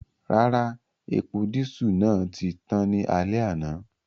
Rara, epo disu naa ti tan ni alẹ ana.